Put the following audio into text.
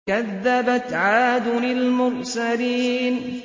كَذَّبَتْ عَادٌ الْمُرْسَلِينَ